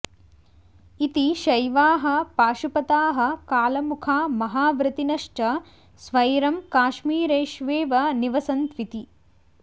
इति शैवाः पाशुपताः कालामुखा महाव्रतिनश्च स्वैरं काश्मीरेष्वेव निवसन्त्विति